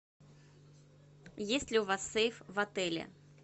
есть ли у вас сейф в отеле